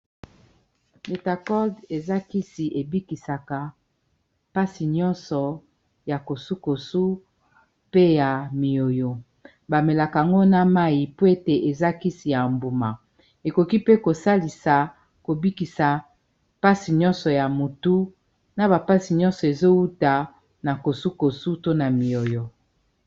litacold eza kisi ebikisaka mpasi nyonso ya kosukosu pe ya miyoyo bamelaka ango na mai po ete eza kisi ya mbuma ekoki pe kosalisa kobikisa mpasi nyonso ya motu na ba passi nyonso ezowuta na kosukosu to na miyoyo.